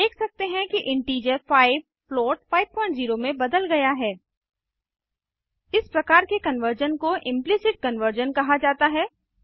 हम देख सकते हैं कि इंटीजर 5 फ्लोट 50 में बदल गया है इस प्रकार के कन्वर्जन को इम्प्लिसिट कन्वर्जन कहा जाता है